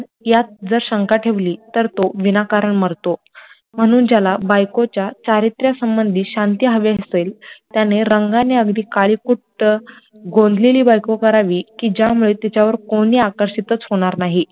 यात जर शंका ठेवली तर तो बिना कारण मरतो, म्हणून ज्याला बायकोच्या चारित्र्य संबंधी शांती हवी असेल, त्याने रंगाने अगदी काळीकुट्ट, गोंदलेली बायको करावी कि त्यामुडे तिच्यावर कोणी आकर्षितच होणार नाही,